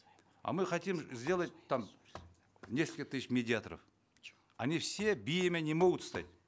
а мы хотим сделать там несколько тысяч медиаторов они все биями не могут стать